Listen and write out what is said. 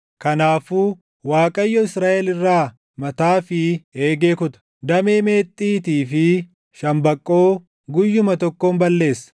Kanaafuu Waaqayyo Israaʼel irraa mataa fi eegee kuta; damee meexxiitii fi shambaqqoo guyyuma tokkoon balleessa;